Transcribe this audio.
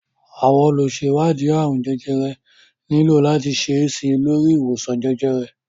Àwọn olùṣèwádìí àrùn jẹjẹrẹ nílò láti ṣe síi lórí ìwòsàn jẹjẹrẹ